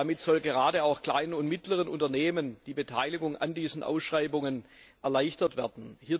Damit soll gerade auch kleinen und mittleren Unternehmen die Beteiligung an diesen Ausschreibungen erleichtert werden.